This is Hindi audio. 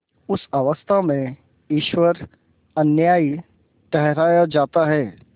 उस अवस्था में ईश्वर अन्यायी ठहराया जाता है